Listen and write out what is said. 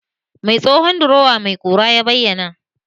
Mai tsohon drowa mai ƙura ya bayyana?